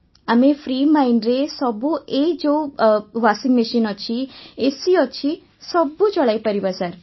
ଆମେ ଫ୍ରି ମାଇଣ୍ଡରେ ସବୁ ଏଇ ଯୋଉ ୱାଶିଂମେସିନ ଅଛି ଏସି ଅଛି ସବୁ ଚଳାଇପାରିବା ସାର୍